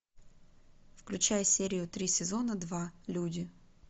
включай серию три сезона два люди